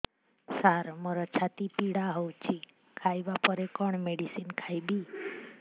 ସାର ମୋର ଛାତି ପୀଡା ହଉଚି ଖାଇବା ପରେ କଣ ମେଡିସିନ ଖାଇବି